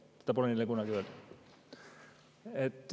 Seda pole neile kunagi öeldud.